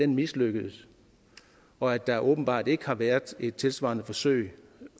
mislykkedes og at der åbenbart ikke har været et tilsvarende forsøg